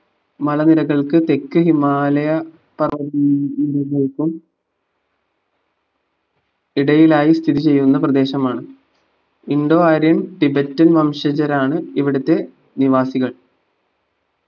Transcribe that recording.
മല നിരകൾക്ക് തെക്ക് ഹിമാലയ പർവ്വതങ്ങൾക്കും ഇടയിലായി സ്ഥിതിചെയ്യുന്ന പ്രദേശമാണ് indo arian tibet വംശജരാണ് ഇവിടുത്തെ നിവാസികൾ